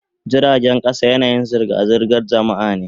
Jiragen kasa yanayin zirga-zirgar jama'a ne.